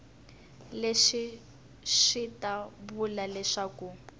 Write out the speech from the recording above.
leswi swi ta vula leswaku